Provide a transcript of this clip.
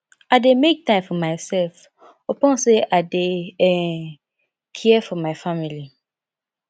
i dey make time for mysef upon sey i dey um care for my family